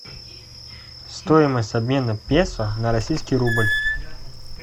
стоимость обмена песо на российский рубль